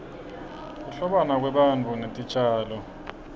kuhlobana kwebantu netitjalo